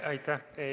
Aitäh!